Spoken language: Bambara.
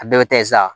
A bɛɛ bɛ taa ye sa